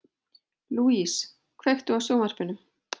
Louise, kveiktu á sjónvarpinu.